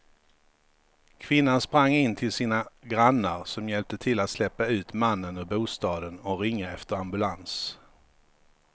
Kvinnan sprang in till sina grannar som hjälpte till att släpa ut mannen ur bostaden och ringa efter ambulans.